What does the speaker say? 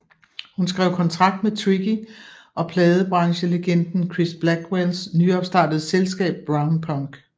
Hun skrev kontrakt med Tricky og pladebranchelegenden Chris Blackwells nyopstartede selskab Brownpunk